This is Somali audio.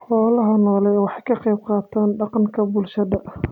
Xoolaha nooli waxa ay ka qayb qaataan dhaqanka bulshada.